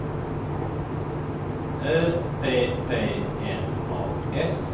Ö P P N A S